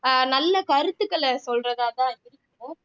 ஆஹ் நல்ல கருத்துக்களை சொல்றதாதான் இருக்கும்